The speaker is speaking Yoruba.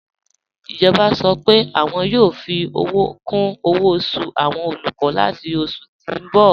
Ijọba sọ́ pé wọn yoo fi owo kun owo osu awọn olukọ lati oṣù ti n bọ̀.